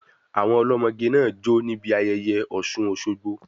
Àwọn ọlọ́mọge náà jó níbi ayẹyẹ Ọ̀ṣun-Òsogbo.